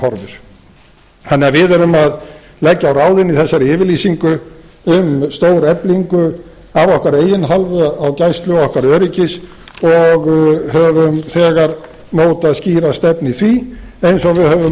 horfir þannig að við erum að leggja á ráðin í þessari yfirlýsingu um stóreflingu af okkar eigin hálfu á gæslu ekki öryggis og höfum þegar mótað skýra stefnu í því eins og við höfum